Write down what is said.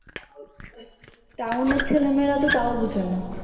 town এর ছেলে মেয়েরা তো তাও বুঝে না